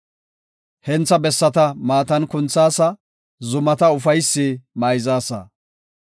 Hentha bessata maatan kunthaasa; zumata ufaysi mayzaasa.